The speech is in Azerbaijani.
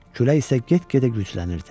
Külək isə get-gedə güclənirdi.